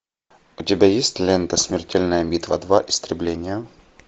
у тебя есть лента смертельная битва два истребление